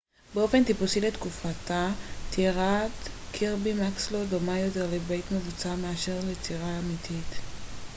באופן טיפוסי לתקופתה טירת קירבי מקסלו דומה יותר לבית מבוצר מאשר לטירה אמיתית